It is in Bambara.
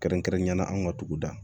Kɛrɛnkɛrɛnnenya la an ka dugu da